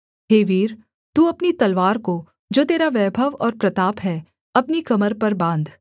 हे वीर तू अपनी तलवार को जो तेरा वैभव और प्रताप है अपनी कमर पर बाँध